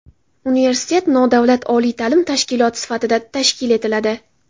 Universitet nodavlat oliy ta’lim tashkiloti sifatida tashkil etiladi.